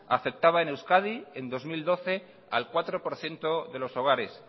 afectaba en euskadi en dos mil doce al cuatro por ciento de los hogares